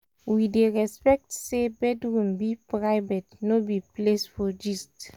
we dey respect say bedroom be private no be place for gist.